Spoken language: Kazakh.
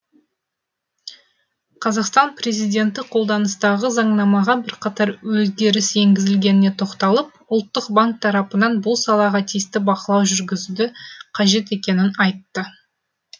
қазақстан президенті қолданыстағы заңнамаға бірқатар өзгеріс енгізілгеніне тоқталып ұлттық банк тарапынан бұл салаға тиісті бақылау жүргізуді қажет екенін айтты